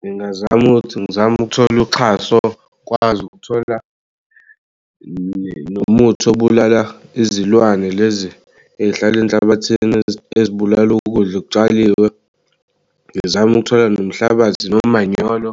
Ngingazama ukuthi ngizame ukuthola uxhaso ngikwazi ukuthola nomuthi obulala izilwane lezi ey'hlal'enhlabathini ezibulal'ukudla okutshaliwe ngizame ukuthola nomhlabathi nomanyolo